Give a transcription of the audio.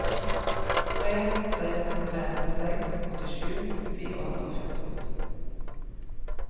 tre tre fem seks åttisju fire hundre og fjorten